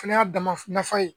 Fɛnɛ y'a dama nafa ye.